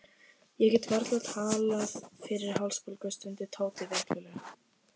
Ég get varla talað fyrir hálsbólgu, stundi Tóti veiklulega.